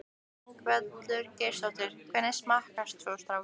Ingveldur Geirsdóttir: Hvernig smakkast svo strákar?